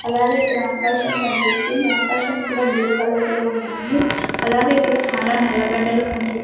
అలాగే ఇక్కడ ఆకాశం కనిపిస్తుంది ఆకాశం కూడా బ్లూ కలర్లో ఉన్నాయి అలాగే ఇక్కడ చాలా నల్ల బండలు కూడా కనిపిస్--